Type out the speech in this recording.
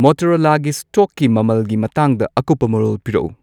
ꯃꯣꯇꯣꯔꯣꯂꯥꯒꯤ ꯁ꯭ꯇꯣꯛꯀꯤ ꯃꯃꯜꯒꯤ ꯃꯇꯥꯡꯗ ꯑꯀꯨꯞꯄ ꯃꯔꯣꯜ ꯄꯤꯔꯛꯎ